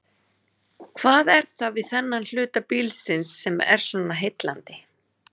Hvað er það við þennan hluta bílsins sem er svona heillandi?